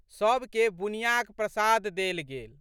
सबके बुनियाँक प्रसाद देल गेल।